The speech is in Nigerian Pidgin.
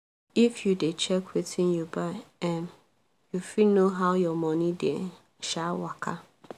if you dey check wetin you buy um you fit know how your money dey um waka